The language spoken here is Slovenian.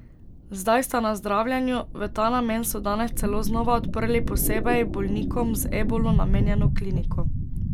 Zdaj sta na zdravljenju, v ta namen so danes celo znova odprli posebej bolnikom z ebolo namenjeno kliniko.